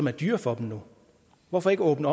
er dyre for dem hvorfor ikke åbne